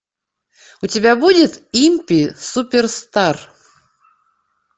у тебя будет импи суперстар